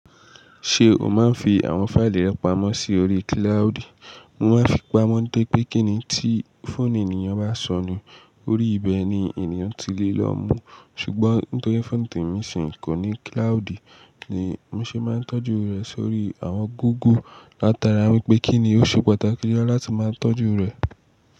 Ṣé o máa ń fi àwọn fáìlì rẹ pamọ́ sí orí kíláùdì? Mo máa ń fi pamọ́ nitori pé kíni tí fóònù ènìyàn bá sọnù, orí ibẹ̀ ni ènìyàn ti lè lọ mú. Ṣùgbọ́n nítorí fóònù temi ṣì kò ní kíláùdì ni mo ṣe máa ń tọ́jú rẹ̀ sórí àwọn góógle látara wípé kíni ó ṣe pàtàkì lọ láti máa tọ́jú rẹ̀.